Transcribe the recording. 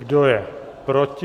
Kdo je proti?